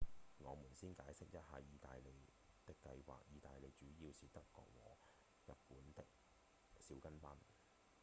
我們先解釋一下義大利的計畫義大利主要是德國和日本的「小跟班」